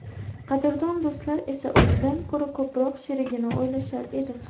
Qadrdon do‘stlar esa o‘zidan ko‘ra ko‘proq sherigini o‘ylashar edi.